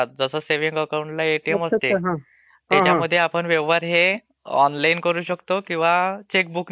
त्याच्यामध्ये व्यवहार हे आपण ओनलाईन करू शकतो किंवा चेकबुक ने करू शकतो. हे दोन्ही प्रकार आहेत त्याच्यामध्ये.